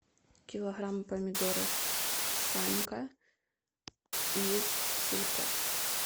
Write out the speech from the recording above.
килограмм помидоров санька из сельпо